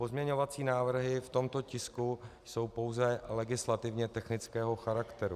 - Pozměňovací návrhy v tomto tisku jsou pouze legislativně technického charakteru.